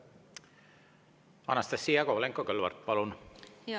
Anastassia Kovalenko-Kõlvart, palun!